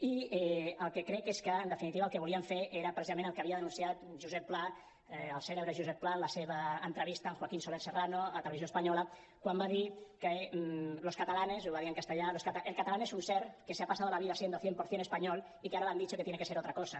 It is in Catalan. i el que crec és que en definitiva el que volien fer era precisament el que havia denunciat josep pla el cèlebre josep pla en la seva entrevista amb joaquín soler serrano a televisió espanyola quan va dir que los catalanes ho va dir en castellà el catalán es un ser que se ha pasado la vida siendo cien por cien español y que ahora le han dicho que tiene que ser otra cosa